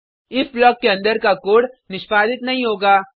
if block के अंदर का कोड निष्पादित नहीं होगा